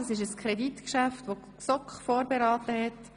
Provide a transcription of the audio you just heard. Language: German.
Die GSoK hat dieses Kreditgeschäft vorberaten.